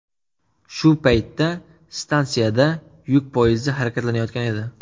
Shu paytda stansiyada yuk poyezdi harakatlanayotgan edi.